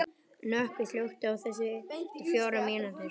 Nökkvi, slökktu á þessu eftir fjórar mínútur.